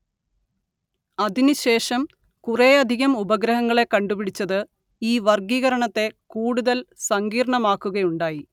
അതിനുശേഷം കൂറേയധികം ഉപഗ്രഹങ്ങളെ കണ്ടുപിടിച്ചത് ഈ വർഗ്ഗീകരണത്തെ കൂടുതൽ സങ്കീർണ്ണമാക്കുകയുണ്ടായി